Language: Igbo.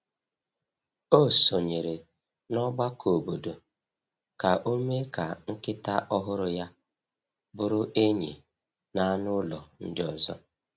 O sonyeere n’ọgbakọ obodo ka o mee ka nkịta ọhụrụ ya bụrụ enyi na anụ ụlọ ndị ọzọ.